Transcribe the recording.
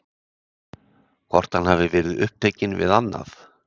Hvort hann hafi verið upptekinn við annað?